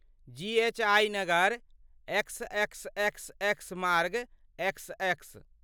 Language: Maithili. जी एच आई नगर, एक्सएक्सएक्सएक्स मार्ग, एक्सएक्स।